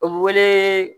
O bɛ wele